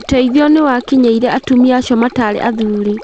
ũteithio nĩwakinyĩire atumia acio matarĩ athuri